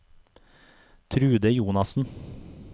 Trude Jonassen